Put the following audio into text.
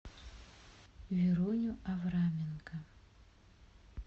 веруню авраменко